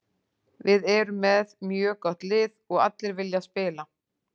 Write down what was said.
Við erum með mjög gott lið og allir vilja spila.